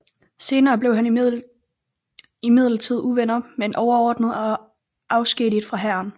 Senere blev han imidlertid uvenner med en overordnet og afskediget fra hæren